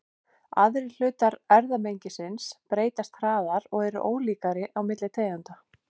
Aðrir hlutar erfðamengisins breytast hraðar og eru ólíkari milli tegunda.